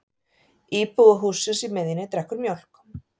Íbúi hússins í miðjunni drekkur mjólk.